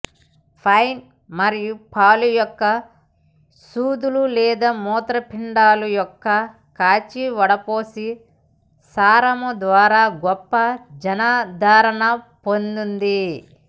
pine మరియు పాలు యొక్క సూదులు లేదా మూత్రపిండాలు యొక్క కాచి వడపోసిన సారము ద్వారా గొప్ప జనాదరణ పొందింది